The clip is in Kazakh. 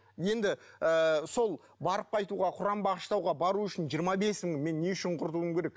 енді ыыы сол барып қайтуға құран бағыштауға бару үшін жиырма бес мың мен не үшін құртуым керек